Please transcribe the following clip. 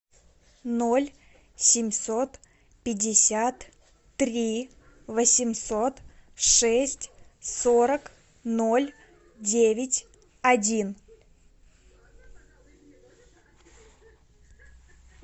ноль семьсот пятьдесят три восемьсот шесть сорок ноль девять один